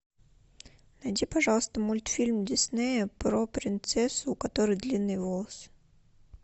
найди пожалуйста мультфильм диснея про принцессу у которой длинные волосы